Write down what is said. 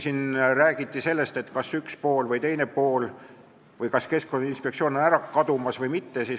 Siin räägiti sellest, kas üks pool või teine pool või kas Keskkonnainspektsioon on ära kadumas või mitte.